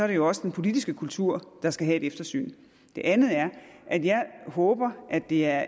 det jo også den politiske kultur der skal have et eftersyn det andet er at jeg håber at det er